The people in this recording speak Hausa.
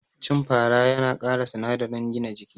Cin fara yana kara sinadarin gina jiki